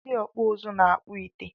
Ndị ọkpụ uzu na-akpọ ite